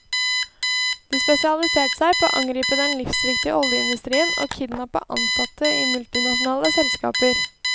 De spesialiserte seg på å angripe den livsviktige oljeindustrien og kidnappe ansatte i multinasjonale selskaper.